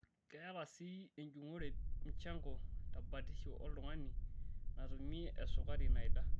Keeta sii enjung'ore muchango tebatisho oltung'ani natumie esukari naida.